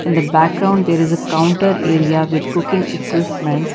in the background there is a counter area with cooking equipment.